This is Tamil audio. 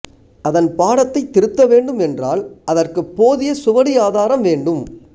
அதன் பாடத்தைத் திருத்த வேண்டும் என்றால் அதற்குப் போதிய சுவடி ஆதாரம் வேண்டும்